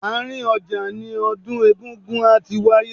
Àárín ọjà ni odun egúngún á ti wáyé.